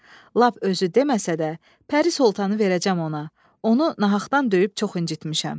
Lap özü deməsə də, Pəri Soltanı verəcəm ona, onu nahaqdan döyüb çox incitmişəm.